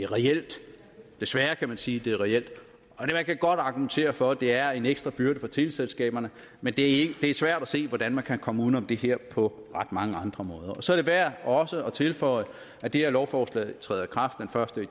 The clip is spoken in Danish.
reelt desværre kan man sige er det reelt man kan godt argumentere for at det er en ekstra byrde for teleselskaberne men det er svært at se hvordan man kan komme uden om det her på ret mange andre måder så er det værd også at tilføje at det her lovforslag træder i kraft den første